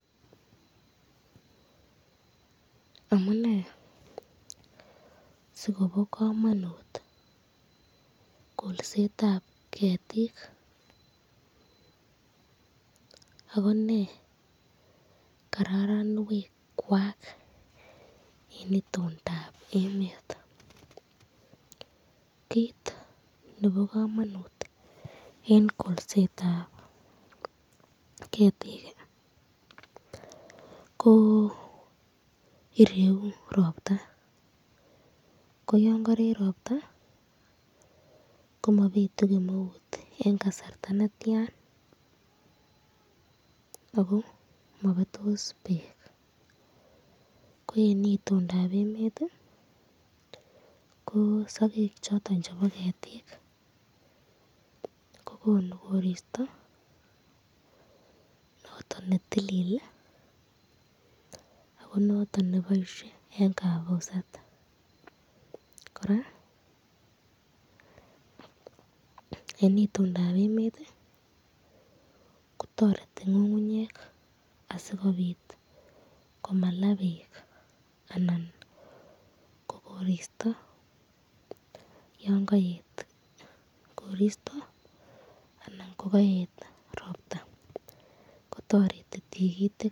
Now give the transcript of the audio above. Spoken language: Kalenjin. Amune sikobo kamanut kolsetab ketik ako nee karoronwekwak eng itondab emet ,kit nebo eng kolsetab ketik ko ireyu ropta, ko yon karee ropta , komabitu kemeut eng kasarta netian ako mabetos bek, ko eng itondab emet ko sakek choton chebo ketikko konu korisy noton netilil ako noton neboisye eng kabuset , koraa eng itondab emet kotoreti ngungunyek asikobit komalaa bek anan ko koristo yon kaet koristo anan kokwet robta kotareti Tikitik.